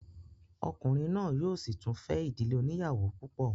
Ọkùnrin náà yóò sì tún fẹ́ ìdílé oníyàwó púpọ̀